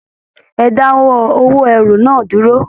Ẹ dáwọ́ òwò ẹrú náà dúró.